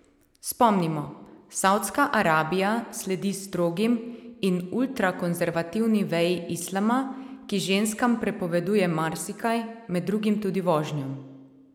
Spomnimo, Savdska Arabija sledi strogim in ultrakonzervativni veji Islama, ki ženskam prepoveduje marsikaj, med drugim tudi vožnjo.